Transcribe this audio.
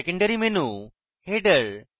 secondary menu header